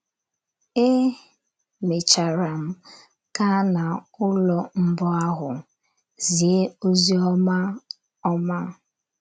É mechara m gaa n’ụlọ mbụ ahụ zie ozi ọma. ọma.